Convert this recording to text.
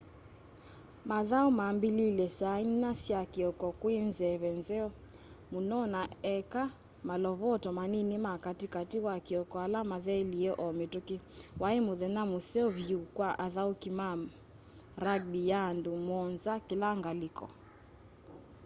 mathau mambiliilye saa inya sya kioko kwi nzeve nzeo muno na eka malovoto manini ma kati kati wa kioko ala mathelie o mituki wai muthenya museo vyu kwa athauki ma ma rugby ya andu muonza kila ngaliko